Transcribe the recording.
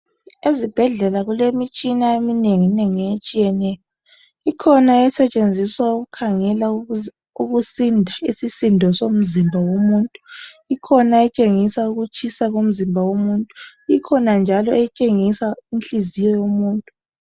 Ezibhedlela kulemitshina eminenginengi etshiyeneyo ikhona esetshenziswa ukukhangela ukusinda isisindo somzimba womuntu, ikhona etshengisa ukutshisa komzimba womuntu, ikhona njalo etshengisa inhliziyo yomuntu.